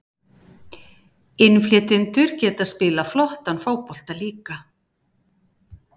Innflytjendur geta spilað flottan fótbolta líka.